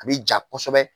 A bi ja kosɛbɛ